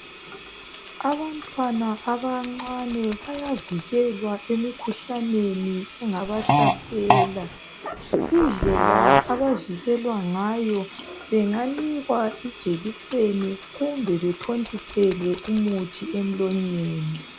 Abantwana abancane bayavikelwa emikhuhlaneni engaba hlasela indlela abavikelwa ngayo benganikwa ijekiseni kumbe bethontiselwe umuthi emlonyeni